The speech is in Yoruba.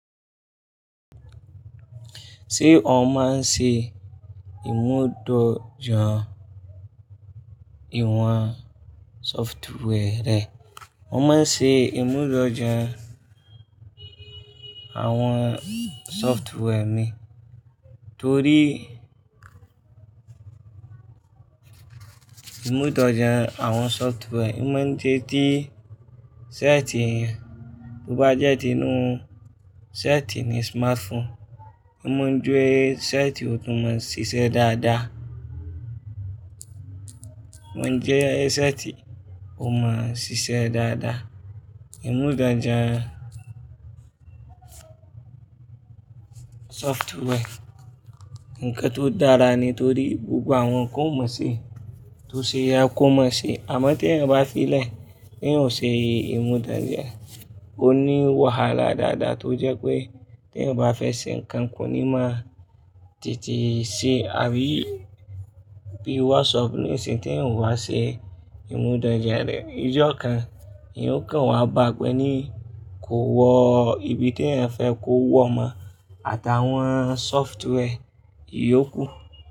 Ṣé ó máa ń ṣe ìmúdójà ìwọ̀n software re? Wọ́n máa ń ṣe ìmúdójà àwọn software mi torí ìmúdójà àwọn software máa ń jẹ́ tí sẹ́ẹ̀tì yẹn, bó bá jẹ́ ti inú sẹ́ẹ̀tì ni smartphone, ó máa ń jẹ sẹ́ẹ̀tì ó tún máa ń ṣiṣẹ́ dáadáa. Wọ́n jẹ sẹ́ẹ̀tì ó máa ń ṣiṣẹ́ dáadáa. Ìmúdójà software nǹkan tó dára nítorí gbogbo àwọn kan ó ma se, tó ṣe é ye kò mọ̀ se. Àmọ́ tí ẹni bá fí lè, tí ènìyàn ò ṣe ìmúdójà, ó ní wahala dáadáa tó jẹ́ pé tí ẹnyan bá fẹ́ ṣe nǹkan kò ní máa tètè ṣe. Àbí bí WhatsApp, nisiyin tí ènìyàn ò bá ṣe ìmúdójà rẹ̀, ijọ́ kan, ènìyàn ó kàn wá bápe ní kò wọ ibi tí ẹ̀yan fẹ́ kó wọ mo, àtàwọn software yóò kú.